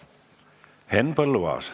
Henn Põlluaas.